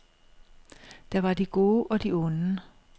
Der var de gode og de onde.